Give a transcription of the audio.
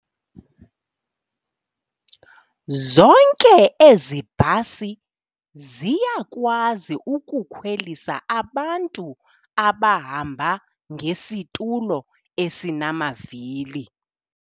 Zonke ezi bhasi ziyakwazi ukukhwelisa abantu abahamba ngesitulo esinamavili.